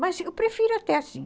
Mas eu prefiro até assim.